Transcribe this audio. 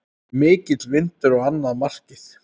Mikill vindur á annað markið.